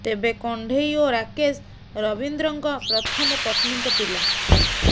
ତେବେ କଣ୍ଢେଇ ଓ ରାକେଶ ରବୀନ୍ଦ୍ରଙ୍କ ପ୍ରଥମ ପତ୍ନୀଙ୍କ ପିଲା